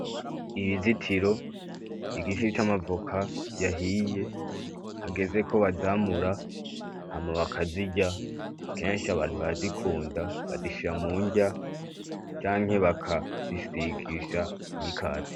Inzitiro , igiti c'amavoka yahiye hageze ko bazamura hama bakazirya kenshi abantu barazikunda, bazishira munrya canke bakazisigisha imikate.